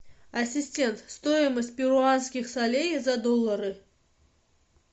ассистент стоимость перуанских солей за доллары